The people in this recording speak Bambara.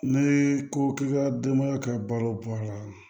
Ne ko k'i ka denbaya ka balo bɔ a la